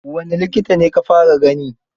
Wane likita ka fara gani?